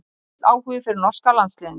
Lítill áhugi fyrir norska landsliðinu